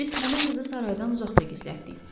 Biz həmin qızı saraydan uzaqda gizlətdik.